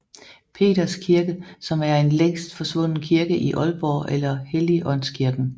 Peders Kirke som en længst forsvunden kirke i Aalborg eller Helligaandskirken